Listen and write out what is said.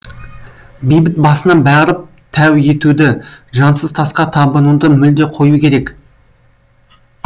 басына барып тәу етуді жансыз тасқа табынуды мүлде қою керек